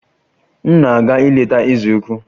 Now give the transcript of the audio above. M na-aga ileta eze ukwu